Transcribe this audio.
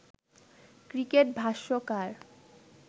cricket ভাষ্যকার